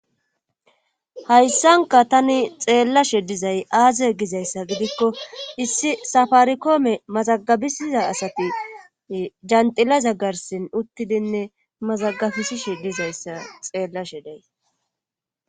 Hayssanka tani xeellashe dizay aaze gizayssa gidikko issi safarikoome mazagabisiza asati janxila zaggarsin uttidinne mazagabisishi dizayssa xeellashe day.